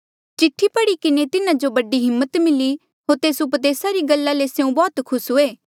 चिठ्ठी पढ़ी किन्हें तिन्हा जो बड़ी हिम्मत मिली होर तेस उपदेसा री गल्ला ले स्यों बौह्त खुस हुए